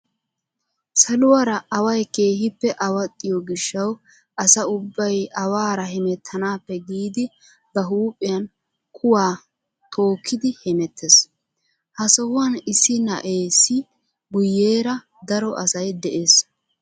Saluwaara away keehippe awaxxiyoo gishshawu asa ubbay awaara hemettanaappe giidi ba huuphphiyaan kuwaa tookkidi hemettees. ha sohuwaan issi na'eesi guyeera daro asay yees.